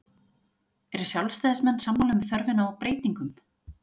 Eru sjálfstæðismenn sammála um þörfina á breytingum?